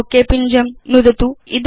okay पिञ्जं नुदतु